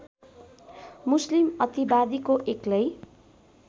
मुस्लिम अतिवादीको एक्लै